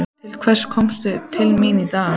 Til hvers komstu til mín í dag?